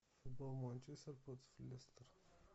футбол манчестер против лестер